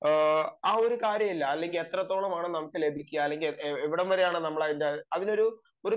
ആ ഒരു കാര്യം ഇല്ല അല്ലെങ്കിൽ എത്രത്തോളമാണ് നമുക്ക് ലഭിക്കുക അല്ലെങ്കിൽ എവിടേം വരെയാണ് നമുക്ക് അതിൽ ഒരു കാര്യവും ഇല്ല